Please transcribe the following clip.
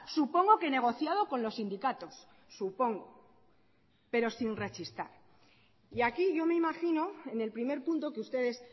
supongo que negociado con los sindicatos supongo pero sin rechistar y aquí yo me imagino en el primer punto que ustedes